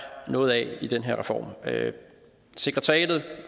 noget af i den her reform sekretariatet